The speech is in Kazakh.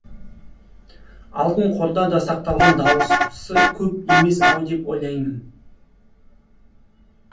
алтын қорда да сақталған дауысы көп емес ау деп ойлаймын